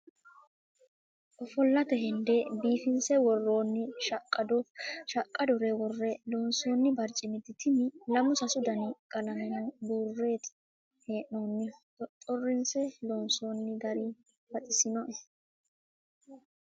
Ofollate hende biifinse worooni shaqado shaqadore wore loonsonni baricimati tini lamu sasu dani qalameno buureti hee'nonihu xoxoressine loonsonni gari baxisinoe.